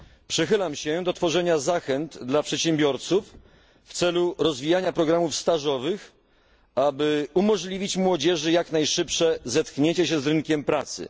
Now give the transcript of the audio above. Przychylam się do tworzenia zachęt dla przedsiębiorców, w celu rozwijania programów stażowych, aby umożliwić młodzieży jak najszybsze zetknięcie się z rynkiem pracy.